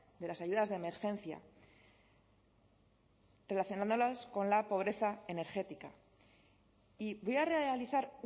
de las ayudas de emergencia relacionándolas con la pobreza energética y voy a realizar